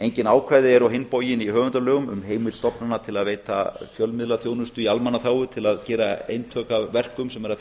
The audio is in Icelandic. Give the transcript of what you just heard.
engin ákvæði eru í höfundalögum um heimild stofnana sem veita fjölmiðlaþjónustu í almannaþágu til að gera eintök af verkum sem er að finna